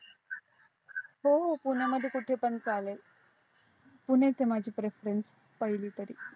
हो हो पुण्या मध्ये कुठे पण चालेल पुणेच आहे माझ preference पहिले तरी